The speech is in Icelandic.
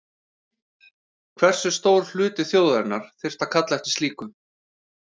Hversu stór hluti þjóðarinnar þyrfti að kalla eftir slíku?